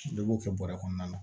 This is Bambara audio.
Dɔ b'o kɛ bɔrɛ kɔnɔna na